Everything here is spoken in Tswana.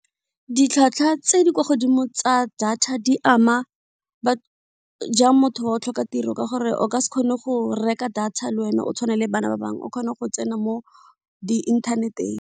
Ditlhwatlhwa tse di kwa godimo tsa data di ama ba jang motho wa o tlhoka tiro ka gore o ka se kgone go reka data le wena o tshwane le bana ba bangwe o kgone go tsena mo di inthaneteng.